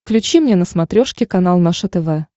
включи мне на смотрешке канал наше тв